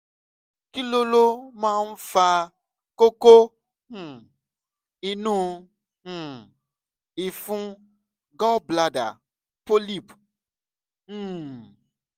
kí ló ló máa ń fa kókó um inú um ìfun - gallbladder polyp um